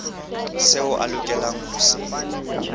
seo a lokelang ho se